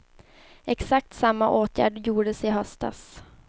Exakt samma åtgärd gjordes i höstas.